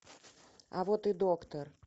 а вот и доктор